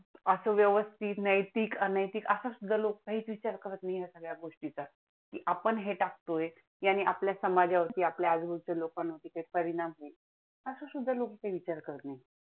असं व्यवस्थित नैतिक, अनैतिक असं सुद्धा लोक कांही विचार करत नाहीत ह्या सगळ्या गोष्टींचा. आपण हे टाकतोय, याने आपल्या समाजावरती, आपल्या आजूबाजूच्या लोकांवरती परिणाम होईलअसं सुद्धा लोक विचार करत नाहीत.